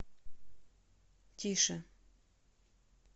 тише